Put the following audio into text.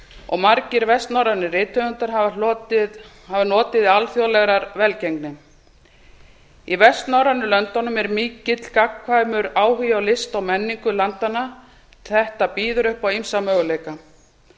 og margir vestnorrænir rithöfundar hafa notið alþjóðlegrar velgengni í vestnorrænu löndunum er mikill gagnkvæmur áhugi á list og menningu landanna þetta býður upp á ýmsa möguleika